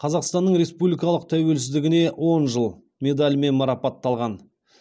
қазақстанның республикалық тәуелсіздігіне он жыл медалімен марапатталған